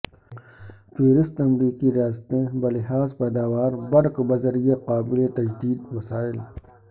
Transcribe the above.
فہرست امریکی ریاستیں بلحاظ پیداوار برق بذریعہ قابل تجدید وسائل